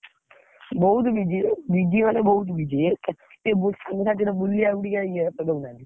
ବହୁତ୍ busy ଓଃ busy ମାନେ ବହୁତ୍ busy ଏତେ ଟିକେ ବୁ ସାଙ୍ଗସାଥି ବୁଲିଆକୁ ଟିକେ ଇଏ ଦଉନାହନ୍ତି।